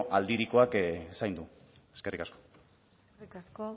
aldirikoak zaindu eskerrik asko eskerrik asko